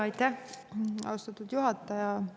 Aitäh, austatud juhataja!